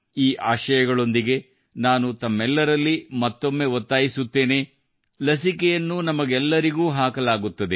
ಈ ಆಶಯಗಳೊಂದಿಗೆ ನಾನು ತಮ್ಮೆಲ್ಲರಲ್ಲಿ ಮತ್ತೊಮ್ಮೆ ಒತ್ತಾಯಿಸುತ್ತೇನೆ ಏನೆಂದರೆ ಲಸಿಕೆಯನ್ನು ನಮಗೆಲ್ಲರಿಗೂ ಹಾಕಲಾಗುತ್ತದೆ